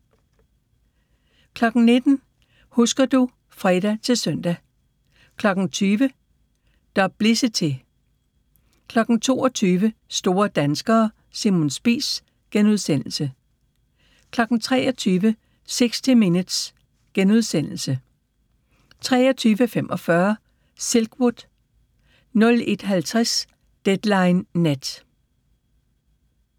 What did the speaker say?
19:00: Husker du ... (fre-søn) 20:00: Duplicity 22:00: Store danskere – Simon Spies * 23:00: 60 Minutes * 23:45: Silkwood 01:50: Deadline Nat